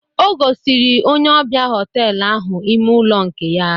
O gosiri onye ọbịa họtelu ahụ ime ụlọ nke ya.